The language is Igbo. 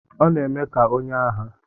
Ọ na-eme ka onye agha.